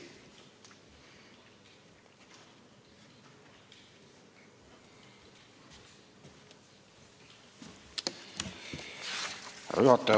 Härra juhataja!